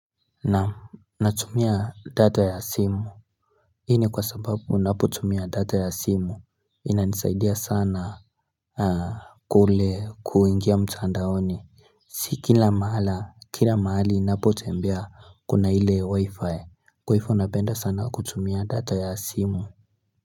Naam natumia data ya simu Hii ni kwa sababu unapo tumia data ya simu ina nisaidia sana kule kuingia mtandaoni si kila mara kila mahali ninapo tembea kuna ile wi-fi kwa hifo napenda sana kutumia data ya simu.